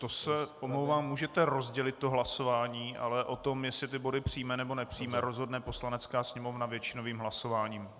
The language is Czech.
To se omlouvám, můžete rozdělit to hlasování, ale o tom, jestli ty body přijme, nebo nepřijme, rozhodne Poslanecká sněmovna většinovým hlasováním.